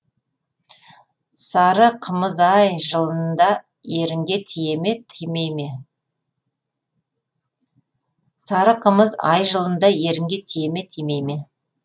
сары қымыз ай жылында ерінге тие ме тимей ме